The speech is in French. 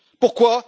Pourquoi?